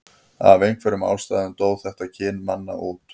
af einhverjum ástæðum dó þetta kyn manna út